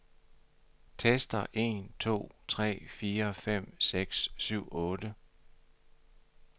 Tester en to tre fire fem seks syv otte.